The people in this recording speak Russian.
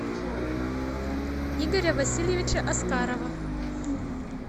игоря васильевича аскарова